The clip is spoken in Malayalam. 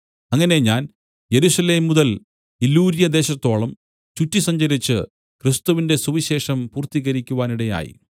അങ്ങനെ ഞാൻ യെരൂശലേം മുതൽ ഇല്ലുര്യദേശത്തോളം ചുറ്റിസഞ്ചരിച്ചു ക്രിസ്തുവിന്റെ സുവിശേഷം പൂർത്തീകരിക്കുവാനിടയായി